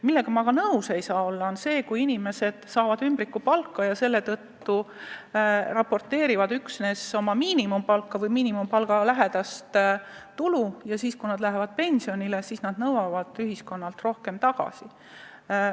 Millega aga kuidagi nõus ei saa olla, on see, et inimesed saavad ümbrikupalka ja deklareerivad üksnes miinimumpalgalähedast tulu ja nõuavad siis, kui nad on pensionile läinud, ühiskonnalt rohkem tagasi.